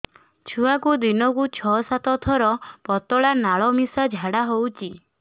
ଛୁଆକୁ ଦିନକୁ ଛଅ ସାତ ଥର ପତଳା ନାଳ ମିଶା ଝାଡ଼ା ହଉଚି